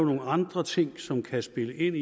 nogle andre ting som kan spille ind